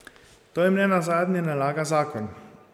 To jim nenazadnje nalaga zakon.